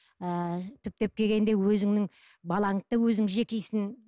ыыы түптеп келгенде өзіңнің балаңды да өзің жекисің